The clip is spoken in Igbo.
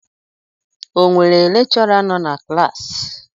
O nwere lekchọra nọ na klassi?